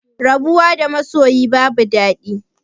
Rabuwa da masoyi babu dadi